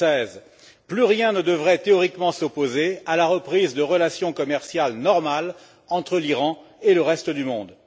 2016. Plus rien ne devrait théoriquement s'opposer à la reprise de relations commerciales normales entre l'Iran et le reste du monde.